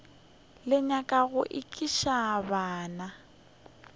le nyaka go ekiša bana